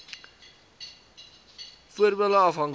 wvf voordele afhanklik